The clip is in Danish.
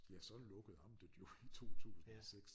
Ja så lukkede amtet jo i 2006